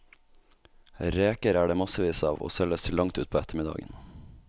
Reker er det massevis av, og selges til langt utpå ettermiddagen.